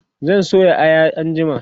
zan soya Aya anjima